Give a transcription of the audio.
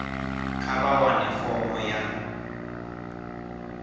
kha vha wane fomo ya